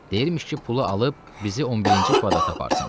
Deyirmiş ki, pulu alıb bizi 11-ci kvadrata aparsın.